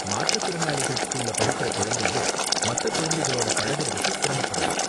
மாற்றுத் திறனாளிகள் ஸ்கூல்ல படிக்கிற குழந்தைங்க மத்த குழந்தைகளோட பழகுறதுக்கு சிரமப்படலாம்.